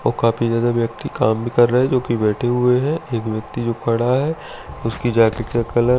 और काफी ज्यादा व्यक्ति काम भी कर रहे हैं जो कि बैठे हुए हैं एक व्यक्ति जो खड़ा है उसकी जैकेट का कलर --